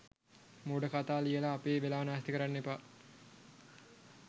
මෝඩ කතා ලියලා අපේ වෙලාව නාස්ති කරන්න එපා.